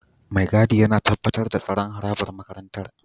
Mai gadi yana tabbatar da tsaron harabar makarantar